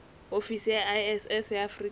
ofisi ya iss ya afrika